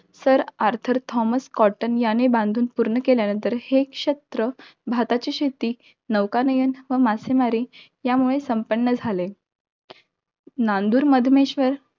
Sir Arthur Thomas Cotton याने बांधून पूर्ण केल्या नंतर हे, क्षेत्र भाताची शेती, नौकानयन व मासेमारी यामुळे संपन्न झाले. नांदूर माधुमेश्वर